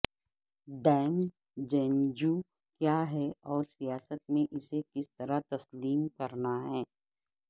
ڈیمجنجیو کیا ہے اور سیاست میں اسے کس طرح تسلیم کرنا ہے